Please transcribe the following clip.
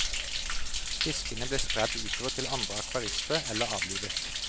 Fiskene ble spredd utover til andre akvarister eller avlivet.